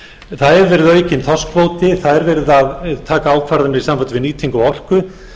það hefur verið aukinn þorskkvóti það er verið að taka ákvarðanir í sambandi við nýtingu á orku